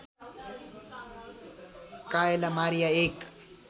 Kayla Maria एक